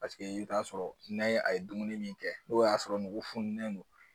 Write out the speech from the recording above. Paseke i bɛ t'a sɔrɔ n'a ye a ye dumuni min kɛ n'o y'a sɔrɔ nugu fununen don